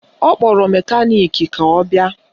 Ọ kpọrọ mekaniki ka ọ bịa